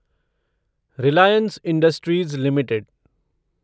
Reliance Industries limited